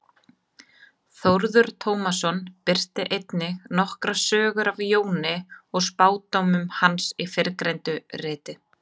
Þórður Tómasson birtir einnig nokkrar sögur af Jóni og spádómum hans í fyrrgreindu riti.